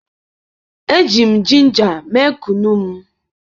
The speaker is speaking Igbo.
eji m ginger mee Kunu m